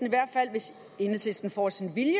i hvert fald hvis enhedslisten får sin vilje